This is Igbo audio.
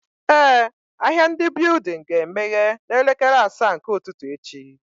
Eh, ahịa ndị building ga emeye na elekere asaa nke ụtụtụ echi